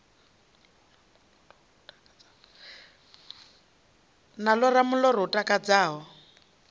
na ḽora muḽoro u takadzaho